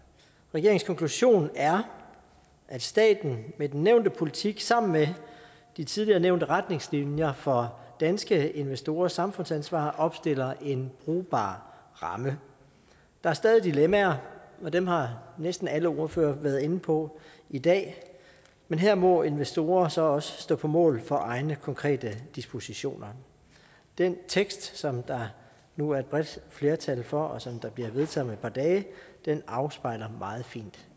regeringens konklusion er at staten med den nævnte politik sammen med de tidligere nævnte retningslinjer for danske investorers samfundsansvar opstiller en brugbar ramme der er stadig dilemmaer og dem har næsten alle ordførere været inde på i dag men her må investorer så også stå på mål for egne konkrete dispositioner den tekst som der nu er et bredt flertal for og som bliver vedtaget om par dage afspejler meget fint